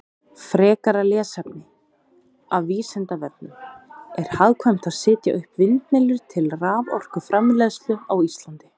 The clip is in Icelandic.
Frekara lesefni af Vísindavefnum: Er hagkvæmt að setja upp vindmyllur til raforkuframleiðslu á Íslandi?